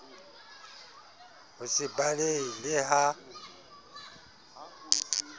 ho se balehe le ha